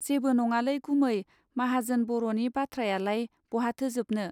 जेबो नङालै गुमै माहाजोन बर'नि बाथ्रायालाय बहाथो जोबनो.